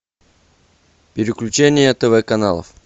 переключение тв каналов